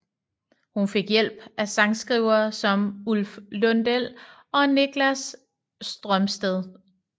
Hun fik hjælp af sangskrivere som Ulf Lundell og Niklas Strömstedt